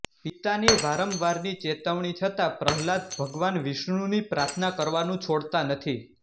પિતાની વારંવારની ચેતવણી છતાં પ્રહલાદ ભગવાન વિષ્ણુની પ્રાર્થના કરવાનું છોડતા નથી